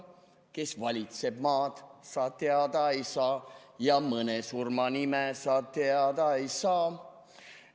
Kes valitseb maad, sa teada ei saa, ja mõne surma nime sa teada ei saa.